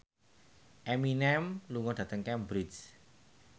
Eminem lunga dhateng Cambridge